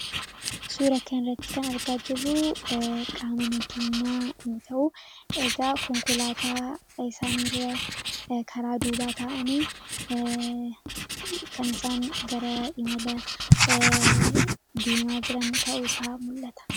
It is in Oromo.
Suuraa kanarratti kan argaa jirru qaama nageenyaa yoo ta'u, egaa konkolaataa isaan karaa duubaa taa'anii kan isaan gara imala deemaa jiran ta'uusaa mul'ata.